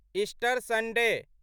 Easter Sunday